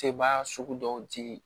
Sebaa sugu dɔw ti